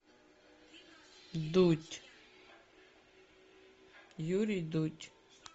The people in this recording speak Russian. дудь юрий дудь